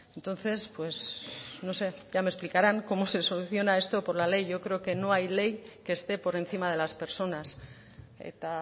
entonces pues no sé ya me explicarán cómo se soluciona esto por la ley yo creo que no hay ley que esté por encima de las personas eta